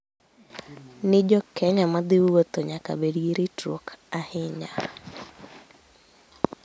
ni jo Kenya ma dhi wuotho ​​nyaka bed gi ritruok ahinya